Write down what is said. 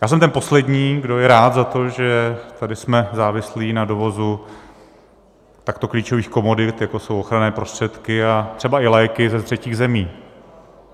Já jsem ten poslední, kdo je rád za to, že tady jsme závislí na dovozu takto klíčových komodit, jako jsou ochranné prostředky a třeba i léky, ze třetích zemí.